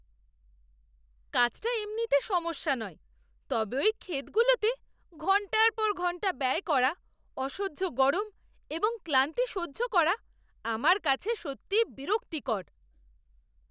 কাজটা এমনিতে সমস্যা নয়, তবে ওই ক্ষেতগুলোতে ঘন্টার পর ঘন্টা ব্যয় করা, অসহ্য গরম এবং ক্লান্তি সহ্য করা, আমার কাছে সত্যিই বিরক্তিকর।